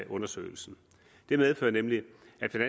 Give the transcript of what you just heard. undersøgelsen det medfører nemlig